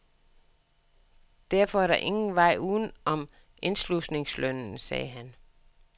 Derfor er der ingen vej udenom indslusningslønnen, sagde han.